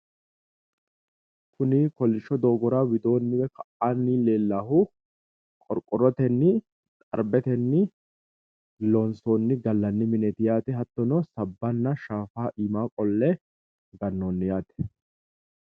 Kuni kollisho doogora widoo hige ka'anni leellannohu qorqorrotenni xarbetenni loonsonni gallanni mineeti yaate hattono sabbanna shaafa iima qolle gannoonni yaate